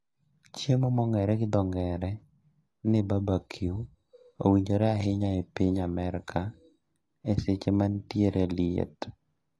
Chiemo mong'ere gi dho ng'ere ni barbecue owinjore ahinya e piny Amerka e seche manitiere liet